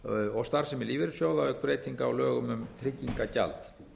og starfsemi lífeyrissjóða auk breytinga á lögum um tryggingagjald